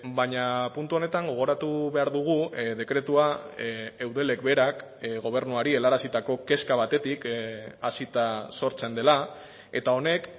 baina puntu honetan gogoratu behar dugu dekretua eudelek berak gobernuari helarazitako kezka batetik hasita sortzen dela eta honek